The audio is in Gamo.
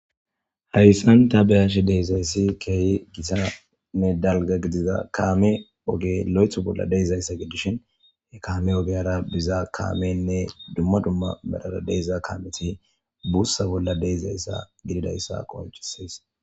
Hayssan ta beyashe deezayssi keeyi gitanne dalga gidiza kaame oge lo'eth bolla deezayssa gidishin he kaame ogeyara biza kaamenne dumma dumma medhara deeza kaameti buussa bolla deizayssa gididayssa qoncisees